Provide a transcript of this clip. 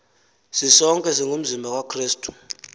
sisonke singumzimba kakrestu